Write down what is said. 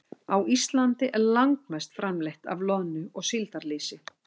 Á Íslandi er langmest framleitt af loðnu- og síldarlýsi.